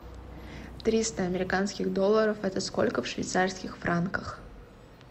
триста американских долларов это сколько в швейцарских франках